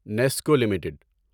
Nescoll limited